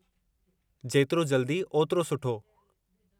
जेतिरो जल्दी, ओतिरो सुठो।